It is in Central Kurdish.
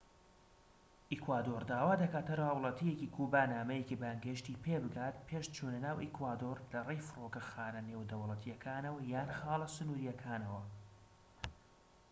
ئیکوادۆر داوا دەکات هەر هاوڵاتیەکی کوبا نامەیەکی بانگهێشتی پێبگات پێش چونە ناو ئیکوادۆر لەڕێی فڕۆکەخانە نێودەوڵەتیەکانەوە یان خاڵە سنوریەکانەوە